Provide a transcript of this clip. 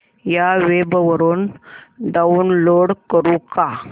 या वेब वरुन डाऊनलोड करू का